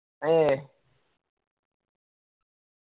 ഏ